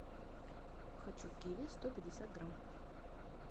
хочу киви сто пятьдесят грамм